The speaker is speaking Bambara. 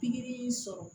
Pikiri sɔrɔ